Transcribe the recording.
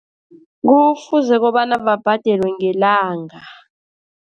Kufuze kobana babhadelwe ngelanga.